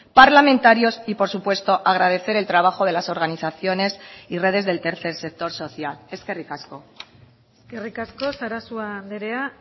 parlamentarios y por supuesto agradecer el trabajo de las organizaciones y redes del tercer sector social eskerrikasko eskerrik asko sarasua andrea